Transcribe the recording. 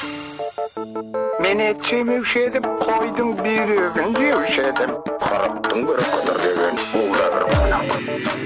мен ет жемеуші едім қойдың бүйрегін жеуші едім қырықтың бірі қыдыр деген